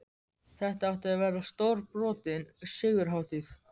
Þetta átti að verða stórbrotin sigurhátíð!